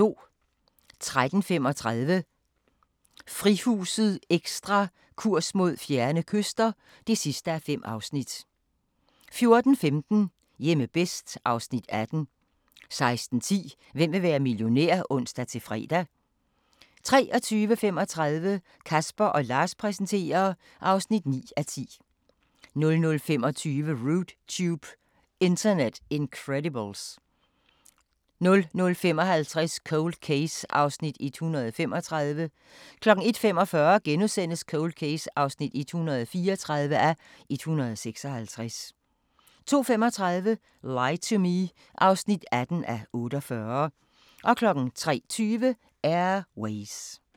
13:35: Frihuset Ekstra: Kurs mod fjerne kyster (5:5) 14:15: Hjemme bedst (Afs. 18) 16:10: Hvem vil være millionær? (ons-fre) 23:35: Casper & Lars præsenterer (9:10) 00:25: Rude Tube – Internet Incredibles 00:55: Cold Case (135:156) 01:45: Cold Case (134:156)* 02:35: Lie to Me (18:48) 03:20: Air Ways